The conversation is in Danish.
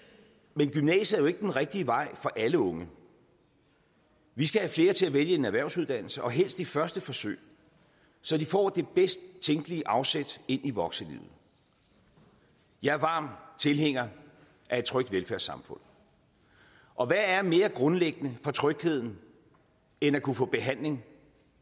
men gymnasiet er jo ikke den rigtige vej for alle unge vi skal have flere til at vælge en erhvervsuddannelse og helst i første forsøg så de får det bedst tænkelige afsæt ind i voksenlivet jeg er varm tilhænger af et trygt velfærdssamfund og hvad er mere grundlæggende for trygheden end at kunne få behandling